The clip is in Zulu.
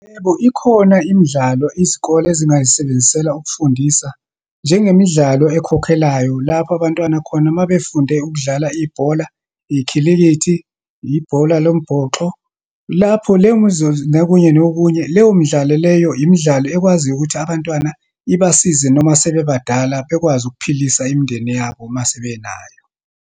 Yebo, ikhona imidlalo izikole ezingayisebenzisela ukufundisa, njengemidlalo ekhokhelayo. Lapho abantwana khona uma befunde ukudlala ibhola, ikhilikithi, ibhola lombhoxo, lapho leyo nokunye, nokunye. Leyo midlalo leyo, imidlalo ekwaziyo ukuthi abantwana ibasize noma sebebadala, bekwazi ukuphilisa imindeni yabo uma sebenayo.